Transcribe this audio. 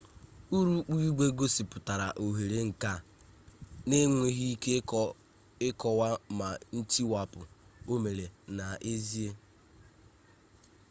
urukpu igwe gosipụtara ohere nke a na-enweghị ike ịkọwa ma ntiwapụ o meela n'ezie